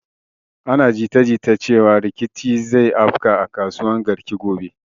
Ana jita jita cewan rikici zai afka a kasuwan garki gobe